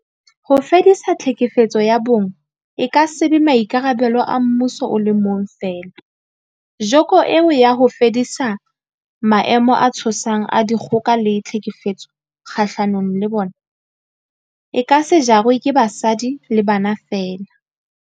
Ho fedisa tlhekefetso ya bong e ka se be maikarabelo a mmuso o le mong feela, joko eo ya ho fedisa maemo a tshosang a dikgoka le tlhekefetso kgahlano le bona, e ka se jarwe ke basadi le bana feela.